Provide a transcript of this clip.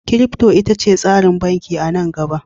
Kirifto ita ce tsarin banki a nan gaba